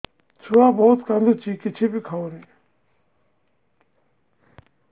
ଛୁଆ ବହୁତ୍ କାନ୍ଦୁଚି କିଛିବି ଖାଉନି